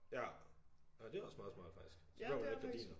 Ja ja det også meget smart faktisk så behøver man ikke gardiner